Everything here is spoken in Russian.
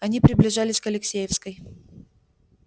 они приближались к алексеевской